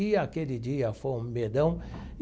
E aquele dia foi um medão.